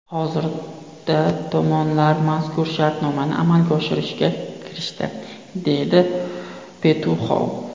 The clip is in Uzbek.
Hozirda tomonlar mazkur shartnomani amalga oshirishga kirishdi”, dedi Petuxov.